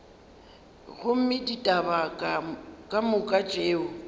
gomme ditaba ka moka tšeo